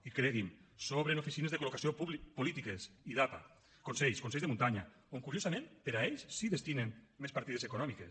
i cregui’m sobren oficines de col·locació polítiques idapa consells consells de muntanya on curiosament per a ells sí que hi destinen més partides econòmiques